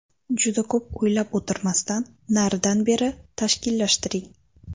Juda ko‘p o‘ylab o‘tirmasdan naridan-beri tashkillashtiring.